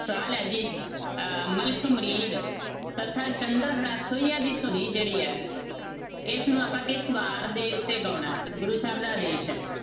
ਸਵਾਲ ਹੈ ਜੀ ਅਹ ਮਲਕ ਮੁਰਦੀ ਤਥਾ ਚੰਦ੍ਰਹੜਾ ਸੋਹੀਆ ਦੀ ਧੁਨੀ ਜਿਹੜੀ ਹੈ, ਇਸਨੂੰ ਆਪਾਂ ਕਿਸ ਵਾਰ ਦੇ ਉੱਤੇ ਗਾਉਣਾ ਹੈ, ਗੁਰੂ ਸਾਹਿਬ ਦਾ ਆਦੇਸ਼ ਹੈ?